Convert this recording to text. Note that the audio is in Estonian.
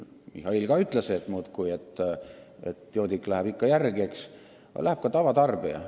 Mihhail ütles samuti, et joodik läheb ikka kangemale kraamile järele, aga läheb ka tavatarbija.